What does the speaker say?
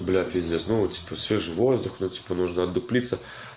бля пиздец ну типа свежий воздух ну типа нужно одуплиться